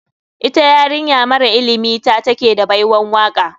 Ita yarinya mara ilimi ta take da baiwan waka.